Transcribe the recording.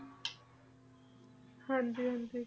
ਹਾਂਜੀ ਹਾਂਜੀ